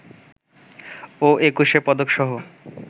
ও একুশে পদকসহ